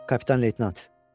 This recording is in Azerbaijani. Kapitan Leytenant.